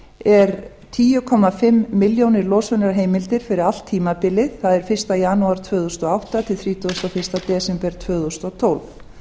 er tíu komma fimm milljónir losunarheimildir fyrir allt tímabilið það er fyrsta janúar tvö þúsund og átta til þrítugasta og fyrsta desember tvö þúsund og tólf